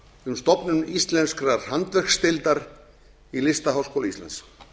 um stofnun íslenskrar handverksdeildar í listaháskóla íslands